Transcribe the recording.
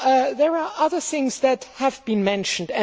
There are other things that have been mentioned.